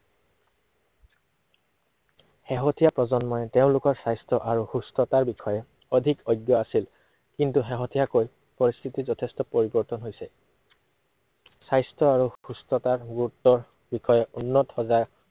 শেহতীয়া প্ৰজন্মই তেওঁলোকৰ স্বাস্থ্য় আৰু সুস্থতাৰ বিষয়ে অধিক অজ্ঞ আছিল। কিন্তু শেহতীয়াকৈ পৰিস্থিতি যথেষ্ট পৰিৱৰ্তন হৈছে। স্বাস্থ্য় আৰু সুস্থতাৰ গুৰুতৰ বিষয়ে উন্নত সজাগ